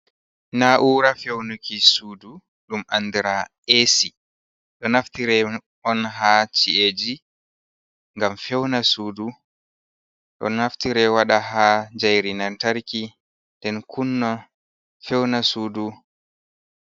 Na'ura fewnuki sudu, ɗum andira esi, ɗon naftire on ha chi’eji ngam fewna sudu, ɗo naftire wada ha jayri nantarki nɗen kunna fewna sudu.